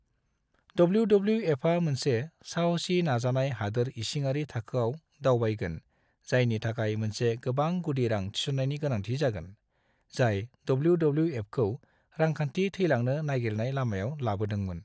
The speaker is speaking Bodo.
डब्ल्यू.डब्ल्यू.एफा मोनसे साहसी नाजानायाव हादोर इसिङारि थाखोआव दावबायगोन जायनि थाखाय मोनसे गोबां गुदि रां थिसन्नायनि गोनांथि जागोन, जाय डब्ल्यू.डब्ल्यू.एफखौ रांखान्थि थैलांनो नागिरनाय लामायाव लाबोदोंमोन।